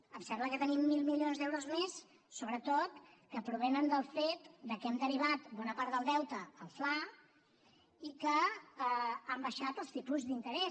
em sembla que tenim mil milions d’euros més sobretot que provenen del fet que hem derivat bona part del deute al fla i que han baixat els tipus d’interès